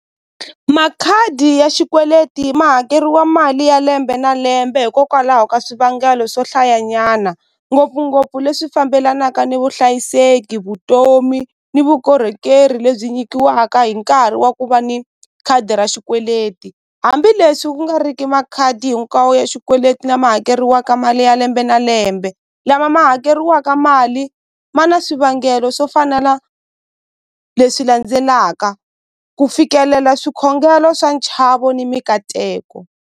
Makhadi ya xikweleti ma hakeriwa mali ya lembe na lembe hikokwalaho ka swivangelo swohlayanyana ngopfungopfu leswi fambelanaka ni vuhlayiseki vutomi ni vukorhokeri lebyi nyikiwaka hi nkarhi wa ku va ni khadi ra xikweleti hambileswi ku nga riki makhadi hinkwawo ya xikweleti lama hakeriwaka mali ya lembe na lembe lama ma hakeriwaka mali ma na swivangelo swo fana na leswi landzelaka ku fikelela swikhongelo swa nchavo ni mikateko.